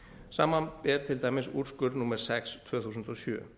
samanber til dæmis úrskurð númer sex tvö þúsund og sjö